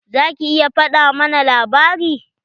Za ki iya faɗa mana labari?